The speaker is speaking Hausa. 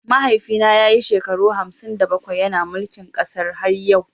Mahaifina ya yi shekaru hamsin da bakwai yana mulkin kasar har yau.